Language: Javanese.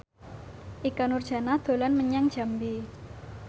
Ikke Nurjanah dolan menyang Jambi